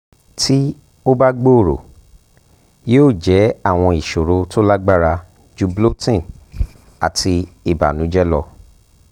ti o ba gbooro yoo jẹ awọn iṣoro to lagbara ju bloating ati ibanujẹ lọ